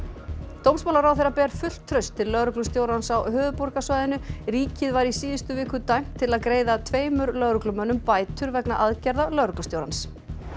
dómsmálaráðherra ber fullt traust til lögreglustjórans á höfuðborgarsvæðinu ríkið var í síðustu viku dæmt til að greiða tveimur lögreglumönnum bætur vegna aðgerða lögreglustjórans